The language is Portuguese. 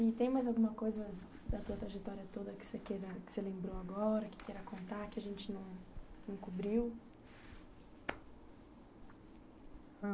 E tem mais alguma coisa da tua trajetória toda que queira que você lembrou agora, que queira contar, que a gente não cobriu?